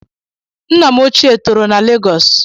Nna m ochie toro na Legos